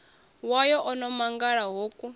wayo o no mangala hoku